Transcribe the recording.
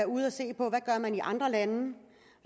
ude at se på hvad man gør i andre lande